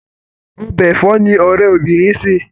Ọbẹ̀ ẹ̀fọ́ ni ọ̀rẹ́ obinrin sè.